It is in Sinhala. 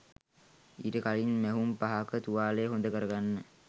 ඊට කලින් මැහුම් පහක තුවාලය හොඳකරගන්න